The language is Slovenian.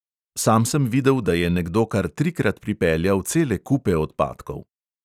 Sam sem videl, da je nekdo kar trikrat pripeljal cele kupe odpadkov.